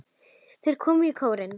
Þeir komu í kórinn.